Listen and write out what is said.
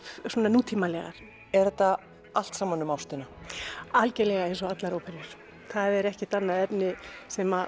nútímalegar er þetta allt saman um ástina algjörlega eins og allar óperur það er ekkert annað efni sem